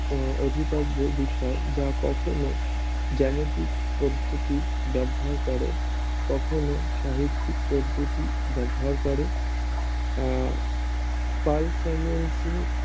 অধিতাব বিষয় যা কখনো জ্যামিতিক পদ্ধতি ব্যবহার করে কখনো সাহিত্যিক পদ্ধতি ব্যবহার করে আহ এপ্ল্যামলসে